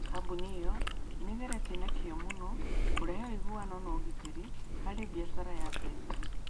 Kambuni ĩyo nĩ ĩgeretie na kĩyo mũno kũrehe ũiguano na ũgitĩri harĩ biacara ya mbeca.